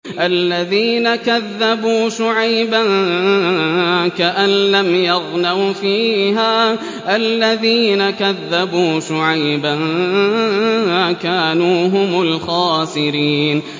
الَّذِينَ كَذَّبُوا شُعَيْبًا كَأَن لَّمْ يَغْنَوْا فِيهَا ۚ الَّذِينَ كَذَّبُوا شُعَيْبًا كَانُوا هُمُ الْخَاسِرِينَ